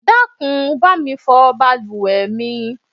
Dákun bá mi fọ bàlùwẹ̀ mi.